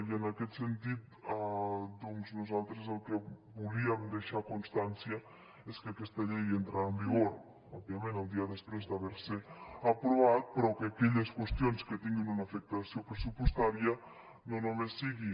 i en aquest sentit nosaltres el que volíem deixar constància és que aquesta llei entrarà en vigor òbviament el dia després d’haver se aprovat però que aquelles qüestions que tinguin una afectació pressupostària no només sigui